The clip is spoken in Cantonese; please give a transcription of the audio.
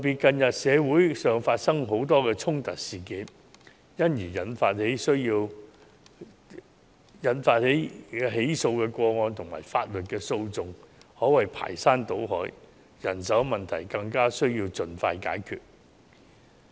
近日社會發生許多衝突事件，因而引起的起訴個案及法律訴訟可謂排山倒海，人手問題更加需要盡快解決。